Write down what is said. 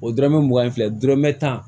O dɔrɔmɛ mugan ni fila dɔrɔmɛ tan